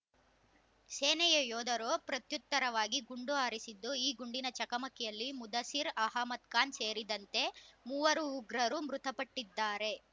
ಸೇನೆಯ ಯೋಧರು ಪ್ರತ್ಯುತ್ತರವಾಗಿ ಗುಂಡು ಹಾರಿಸಿದ್ದು ಈ ಗುಂಡಿನ ಚಕಮಕಿಯಲ್ಲಿ ಮುದಸಿರ್ ಅಹಮದ್ ಖಾನ್ ಸೇರಿದಂತೆ ಮೂವರು ಉಗ್ರರು ಮೃತಪಟ್ಟಿದ್ದಾರೆ